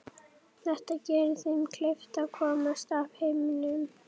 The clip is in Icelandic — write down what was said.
Þetta geri þeim kleift að komast af í heiminum.